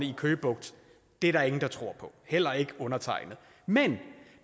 i køge bugt det er der ingen der tror på heller ikke undertegnede men